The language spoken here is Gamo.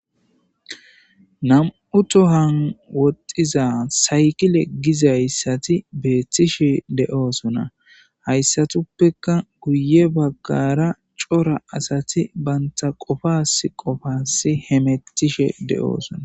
nam7u tohan wotiza saykile gizayssati beettishe de7oosona hayssatuppekka guye baggara cora asati banta qofas qofasi hemettishe de7oosona